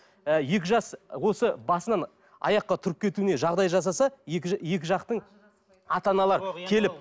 ы екі жас осы басынан аяққа тұрып кетуіне жағдай жасаса екі жақтың ата аналар келіп